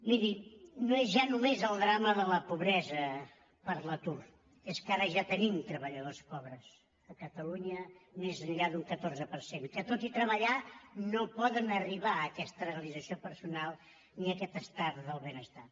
miri no és ja només el drama de la pobresa per l’atur és que ara ja tenim treballadors pobres a catalunya més enllà d’un catorze per cent que tot i treballar no poden arribar a aquesta realització personal ni a aquest estat del benestar